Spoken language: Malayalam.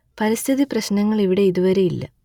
പരിസ്ഥിതി പ്രശ്നങ്ങൾ ഇവിടെ ഇതുവരെ ഇല്ല